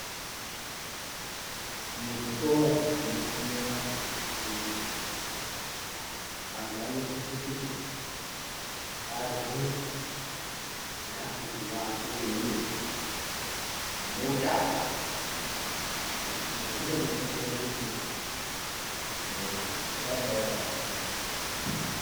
Muzvikora munofunda antu akuru antu anosise kuti arye zvikafu zvinoake mwiri zvine utano izvi zvinodetsere kuti mwiri urambe wakagwinya